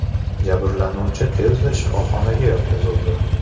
Jabrlanuvchi tezda shifoxonaga yotqizildi.